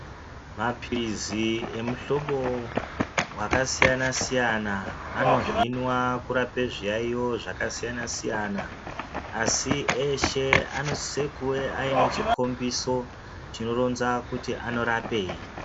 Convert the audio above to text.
Mapilizi emuhlobo wakasiyana-siyana anohinwa kurapa zviyaeyo zvakasiyana-siyana, asi eshe anosiso kuuya aine chikhombiso chinoronza kuti anorapei.